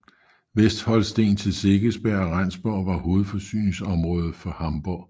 Vestholsten til Segeberg og Rendsborg var hovedforsyningsområde for Hamborg